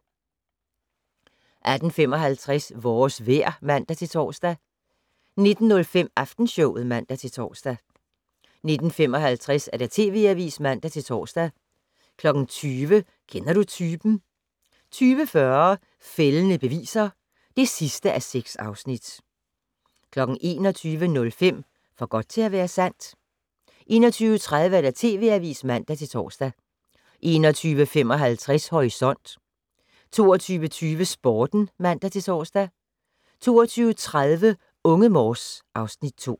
18:55: Vores vejr (man-tor) 19:05: Aftenshowet (man-tor) 19:55: TV Avisen (man-tor) 20:00: Kender du typen? 20:40: Fældende beviser (6:6) 21:05: For godt til at være sandt? 21:30: TV Avisen (man-tor) 21:55: Horisont 22:20: Sporten (man-tor) 22:30: Unge Morse (Afs. 2)